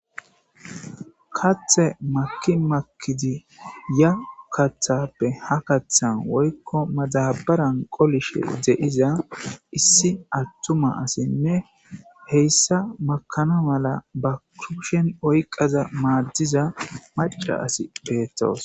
Kathe maki makidi ya kathappe ha kaththan woykko madabaran qolishe d'iza issi attuma asinne heyssa makana mala ba kupshen oyqaza maaddiza maca asi peettoos.